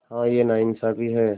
हाँ यह नाइंसाफ़ी है